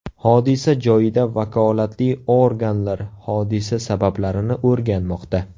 Hodisa joyida vakolatli organlar hodisa sabablarini o‘rganmoqda.